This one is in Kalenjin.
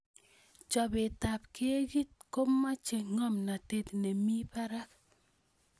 Chobetab keki komochei ngomnatet nemi barak